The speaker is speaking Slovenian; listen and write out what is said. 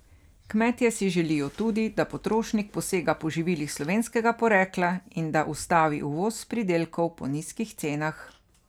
Kmetje si želijo tudi, da potrošnik posega po živilih slovenskega porekla in da se ustavi uvoz pridelkov po nizkih cenah.